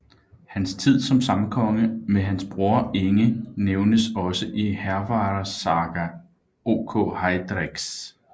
Hans tid som samkonge med hans bror Inge nævnes også i Hervarar saga ok Heiðreks